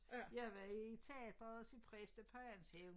Jeg var i teateret og se præstapajans hævn